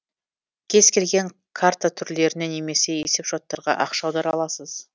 кез келген карта түрлеріне немесе есепшоттарға ақша аудара аласыз